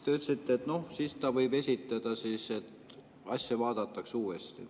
Te ütlesite, et noh, siis ta võib esitada, asja vaadatakse uuesti.